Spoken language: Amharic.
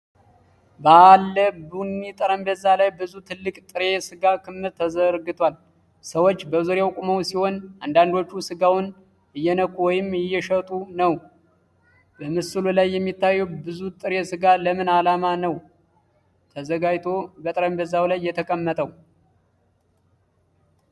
በባለ ቡኒ ጠረጴዛ ላይ ብዙ ትልቅ ጥሬ ሥጋ ክምር ተዘርግቷል። ሰዎች በዙሪያው ቆመው ሲሆን፣ አንዳንዶቹ ሥጋውን እየነኩ ወይም እየሸጡ ነው። በምስሉ ላይ የሚታየው ብዙ ጥሬ ሥጋ ለምን ዓላማ ነው ተዘጋጅቶ በጠረጴዛው ላይ የተቀመጠው?